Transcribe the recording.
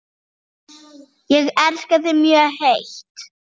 Ég elska þig mjög heitt.